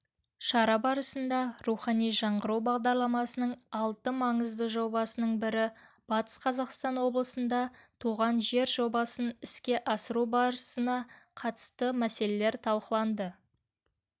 шара барысында рухани жаңғыру бағдарламасының алты маңызды жобасының бірі батыс қазақстан облысында туған жер жобасын іске асыру барысына қатысты мәселелер талқыланды